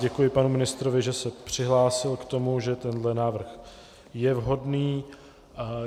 Děkuji panu ministrovi, že se přihlásil k tomu, že tenhle návrh je vhodný.